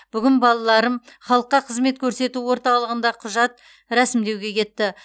бүгін балаларым халыққа қызмет көрсету орталығында құжат рәсімдеуге кетті